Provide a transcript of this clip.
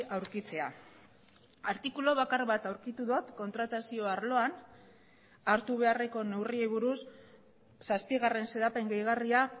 aurkitzea artikulu bakar bat aurkitu dut kontratazio arloan hartu beharreko neurriei buruz zazpigarren xedapen gehigarria